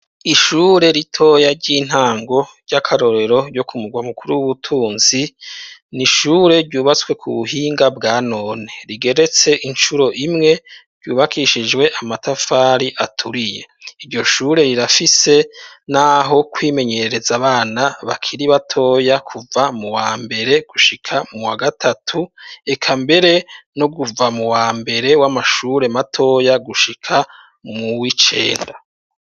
Ishure ritoya ry'intango ry'akarorero ryo ku mugwa mukuru w'ubutunzi, ni ishure ryubatswe ku buhinga bwa none rigeretse incuro imwe, ryubakishijwe amatafari aturiye. Iryo shure rirafise n'aho kwimenyereza abana bakiri batoya kuva mu wa mbere gushika mu wa gatatu, eka mbere no guva mu wambere w'amashure matoya gushika mu w'icenda.